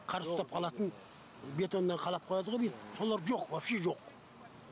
қар ұстап қалатын бетонмен қалап қояды ғо бүйтіп солар жоқ вообще жоқ